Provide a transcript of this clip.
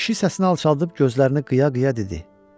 Kişi səsini alçaltdıb gözlərini qıya-qıya dedi.